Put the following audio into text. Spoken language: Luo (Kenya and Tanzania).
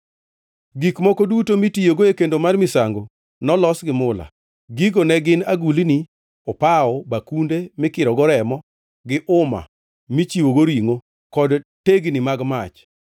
Gik moko duto mitiyogo e kendo mar misango nolos gi mula. Gigo ne gin agulni, opawo, bakunde mikirogo remo, gi uma michiwogo ringʼo kod tegni mag mach.